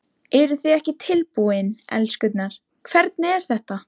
Eruð þið ekki tilbúin, elskurnar, hvernig er þetta?